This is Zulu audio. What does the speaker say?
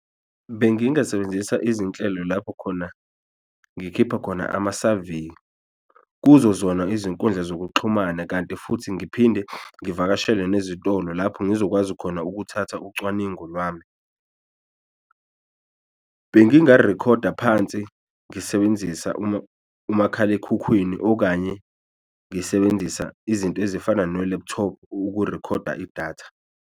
Bengingasebenzisa izinhlelo lapho khona ngikhipha khona amasaveyi kuzo zona izinkundla zokuxhumana kanti futhi ngiphinde ngivakashele nezitolo lapho ngizokwazi khona ukuthatha ucwaningo lwami. Bengingarikhoda phansi ngisebenzisa umakhalekhukhwini okanye ngisebenzisa izinto ezifana no-laptop ukurikhoda idatha.